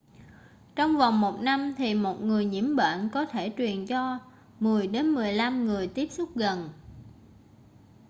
trong vòng một năm thì một người nhiễm bệnh có thể truyền cho 10 đến 15 người tiếp xúc gần